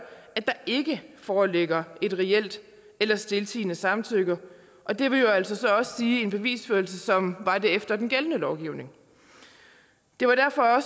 at der ikke foreligger et reelt eller stiltiende samtykke og det vil jo så altså også sige en bevisførelse som var det efter den gældende lovgivning det var derfor